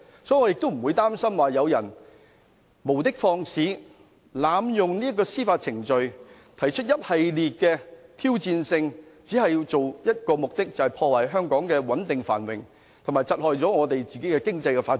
所以，我不擔心有人無的放矢，濫用司法程序，提出一系列挑戰，但卻只有一個目的，就是要破壞香港穩定繁榮，以及窒礙本港的經濟發展。